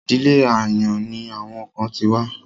Ìdílé àyàn ni àwọn kan ti wá.